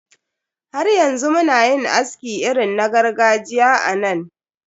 Har yanzu muna yin aski irin na gargajiya a nan.